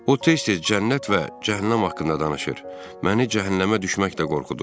O tez-tez cənnət və cəhənnəm haqqında danışır, məni cəhənnəmə düşməklə qorxudurdu.